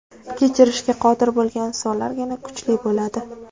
Kechirishga qodir bo‘lgan insonlargina kuchli bo‘ladi.